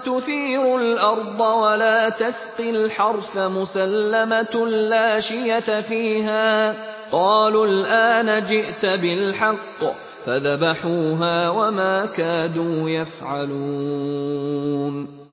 تُثِيرُ الْأَرْضَ وَلَا تَسْقِي الْحَرْثَ مُسَلَّمَةٌ لَّا شِيَةَ فِيهَا ۚ قَالُوا الْآنَ جِئْتَ بِالْحَقِّ ۚ فَذَبَحُوهَا وَمَا كَادُوا يَفْعَلُونَ